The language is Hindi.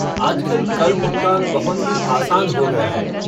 आजकल कर भुगतान बहुत ही आसान हो गया है।